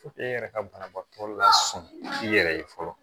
e yɛrɛ ka banabaatɔ lasɔn i yɛrɛ ye fɔlɔ